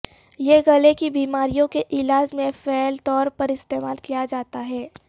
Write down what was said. یہ گلے کی بیماریوں کے علاج میں فعال طور پر استعمال کیا جاتا ہے